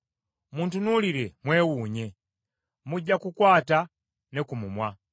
Muntunuulire mwewuunye, mujja kukwata ne ku mumwa.